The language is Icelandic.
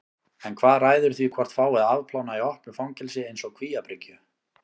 En hvað ræður því hvort fái að afplána í opnu fangelsi eins og Kvíabryggju?